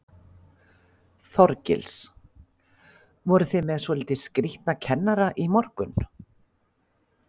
Þorgils: Voru þið með svolítið skrítna kennara í morgun?